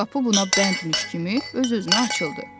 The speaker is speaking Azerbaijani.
Qapı buna bəndmiş kimi öz-özünə açıldı.